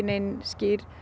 nein